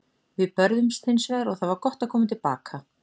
Við börðumst hins vegar og það var gott að koma til baka.